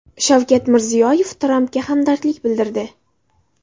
Shavkat Mirziyoyev Trampga hamdardlik bildirdi.